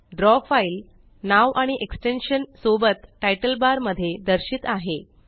draw file नाव आणि extension सोबत तितले बार मध्ये दर्शित आहे